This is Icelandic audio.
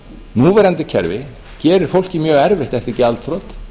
núverandi kerfi gerir fólki mjög erfitt eftir gjaldþrot